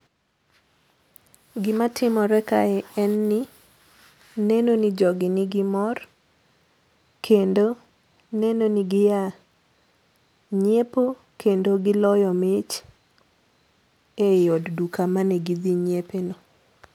Gima timore kae en ni neno ni jogi ni gi mor kendo neno ni gia nyiepo kendo giloyo mich ei od duka mane gidhi nyiepe ni.